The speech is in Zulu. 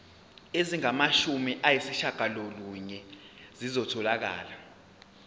ezingamashumi ayishiyagalolunye zitholakele